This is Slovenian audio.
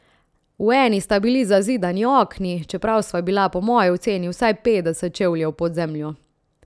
V eni sta bili zazidani okni, čeprav sva bila po moji oceni vsaj petdeset čevljev pod zemljo.